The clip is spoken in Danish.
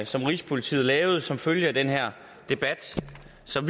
som rigspolitiet lavede som følge af den debat som